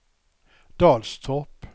Dalstorp